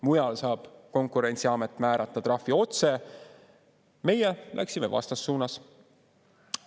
Mujal saab konkurentsiamet määrata trahvi otse, meie läksime vastassuunas.